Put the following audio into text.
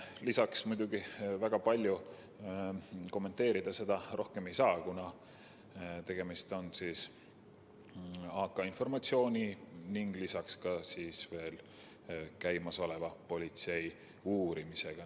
Lisaks seda väga palju rohkem kommenteerida ei saa, kuna tegemist on AK‑märkega informatsiooniga ning käimasoleva politseiuurimisega.